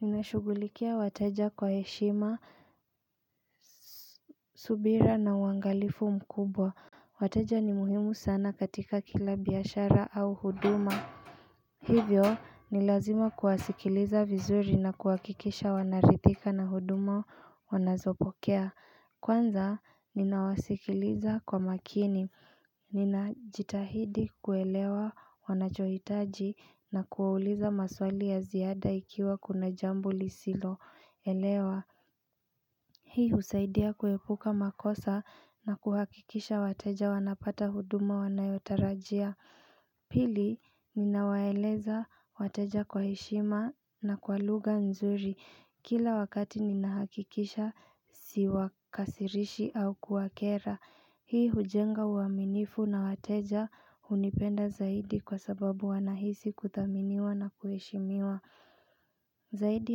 Ninashugulikia wataja kwa heshima, subira na waangalifu mkubwa Wataja ni muhimu sana katika kila biyashara au huduma Hivyo ni lazima kuwasikiliza vizuri na kuwakikisha wanaritika na huduma wanazopokea Kwanza ninawasikiliza kwa makini, ninajitahidi kuelewa wanachoitaji na kuwauliza maswali ya ziada ikiwa kuna jambu lisilo elewa, hii husaidia kuekuka makosa na kuhakikisha wateja wanapata huduma wanayotarajia Pili, ninawaeleza wateja kwa heshima na kwa lugha nzuri Kila wakati ninahakikisha siwakasirishi au kuwakera Hii hujenga uaminifu na wateja unipenda zaidi kwa sababu wanahisi kuthaminiwa na kueshimiwa Zaidi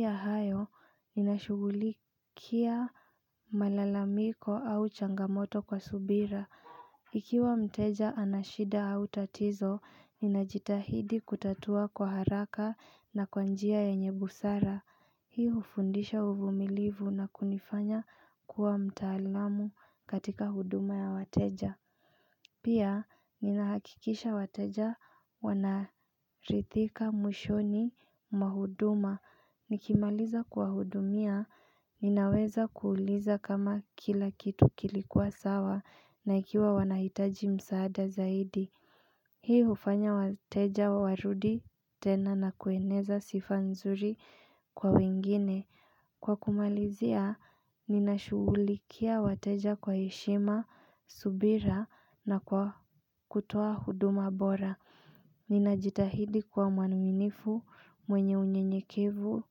ya hayo, ninashugulikia malalamiko au changamoto kwa subira Ikiwa mteja anashida au tatizo, ninajitahidi kutatua kwa haraka na kwa njia ya enye busara Hii ufundisha uvumilivu na kunifanya kuwa mtaalamu katika huduma ya wateja Pia ni nahakikisha wateja wanarithika mushoni mahuduma Nikimaliza kwa hudumia, ninaweza kuuliza kama kila kitu kilikuwa sawa na ikiwa wanahitaji msaada zaidi Hii ufanya wateja warudi tena na kueneza sifa nzuri kwa wengine. Kwa kumalizia, ninashugulikia wateja kwa heshima, subira na kutuwa huduma bora. Ninajitahidi kwa manuminifu mwenye unyenyekevu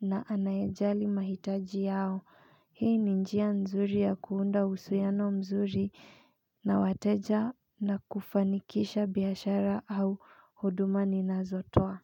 na anayajali mahitaji yao. Hii ni njia nzuri ya kuunda husuyano mzuri na wateja na kufanikisha biashara au huduma ni nazotoa.